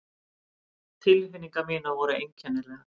Tilfinningar mínar voru einkennilegar.